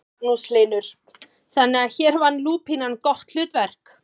Magnús Hlynur: Þannig að hér vann lúpínan gott hlutverk?